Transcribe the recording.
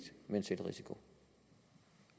med en selvrisiko